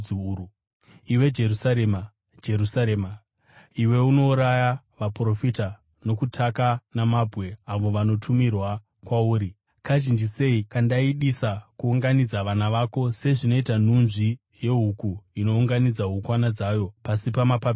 “Iwe Jerusarema, Jerusarema! Iwe unouraya vaprofita nokutaka namabwe avo vanotumirwa kwauri, kazhinji sei kandaidisa kuunganidza vana vako sezvinoita nhunzvi yehuku inounganidza hukwana dzayo pasi pamapapiro ayo.